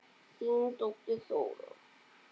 Þín dóttir, Þóra.